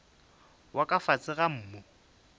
wa ka fase ga mabu